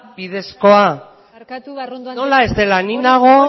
bidezkoa hori ez da barkatu arrondo anderea nola ez dela